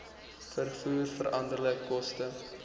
vervoer veranderlike koste